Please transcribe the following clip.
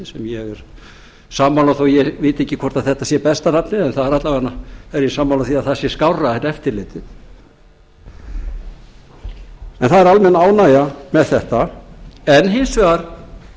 sem ég er sammála þó ég viti ekki hvort þetta sé besta nafnið en alla vega er ég sammála því að það sé skárra en eftirlitið en það er almenn ánægja með þetta en hins vegar